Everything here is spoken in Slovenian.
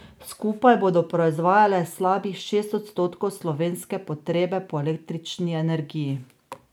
Skupaj bodo proizvajale slabih šest odstotkov slovenske potrebe po električni energiji.